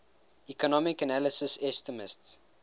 economic analysis estimates